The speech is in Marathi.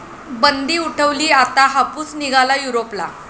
बंदी उठवली, आता हापूस निघाला युरोपला!